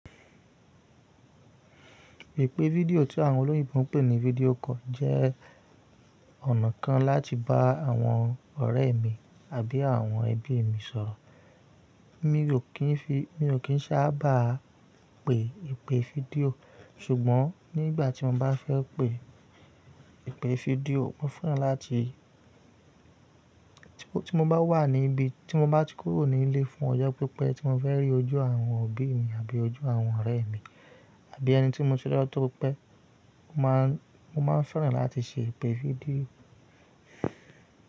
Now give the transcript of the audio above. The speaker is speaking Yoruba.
Ìpè fídíò tí àwọn olóyìn ń pè ní fídíò call jẹ́ ọ̀nà kan láti bá àwọn ọ̀rẹ́ mi àbí àwọn ẹbí mi sọ̀rọ̀. Mi ò kí n fi, mi ò kín sá bá pe ìpè fídíò, ṣùgbọ́n nígbà tí mo bá fẹ́ pe ìpè fídíò, mo fẹ́ràn láti, tí mo bá wà níbí, tí mo bá ti kúrò nílé fún ọjọ́ pípẹ́, tí mo fẹ́ rí ojú àwọn òbí mi àbí ojú àwọn ọ̀rẹ́ mi, àbí ẹni tí mo túdọ́ tó pé, mo máà ń fẹ́ràn láti ṣe ìpè fídíò.